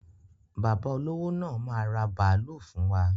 Bàbá olówó máa ra bàálú fún wa.